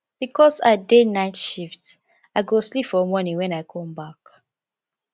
because i dey night shift i go sleep for morning wen i come back